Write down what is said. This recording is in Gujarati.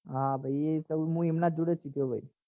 હા ભાઈ એ હું એમના જોડ સીખાયો તો